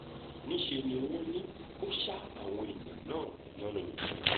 níṣẹ́ ni wọ́n ní ó ṣa àwọn èèyàn náà yánnayànna